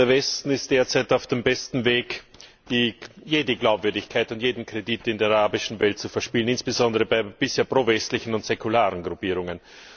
Der Westen ist derzeit auf dem besten Weg, jede Glaubwürdigkeit und jeden Kredit in der arabischen Welt zu verspielen, insbesondere bei bisher pro westlichen und säkularen Gruppierungen.